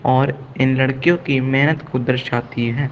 और इन लड़कियों की मेहनत को दर्शाती है।